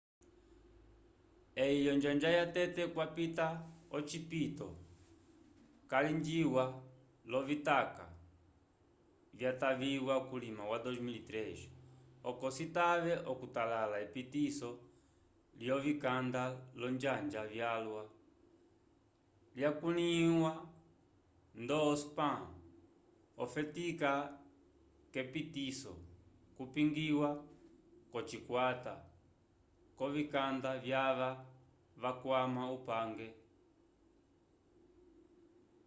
eyi onjanja yatete kwapita ocipito calingiwa lovitaka vyataviwa kulima wa 2003 oco citave okutalala epitiso lyovikanda olonjanja vyalwa lyakulῖhiwa-vo ndo spam okufetika k’etepiso kupingiwa k’ocikwata c’ovikanda vyava vakwama upange